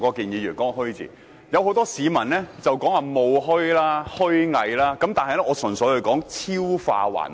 有很多市民說是"虛冒"、"虛偽"的"虛"，但我純粹說"超化還虛"。